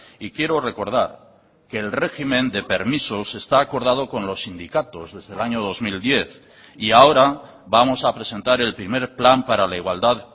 y quiero recordar que el régimen de permisos está acordado con los sindicatos desde el año dos mil diez y ahora vamos a presentar el primer plan para la igualdad